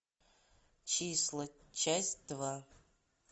числа часть два